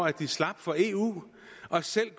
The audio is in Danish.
at de slap for eu og selv